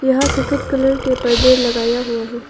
यहां सफेद कलर के पर्दे लगाया हुआ है।